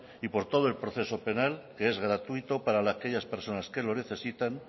y por todo el proceso penal que es gratuito para aquellas personas que lo necesitan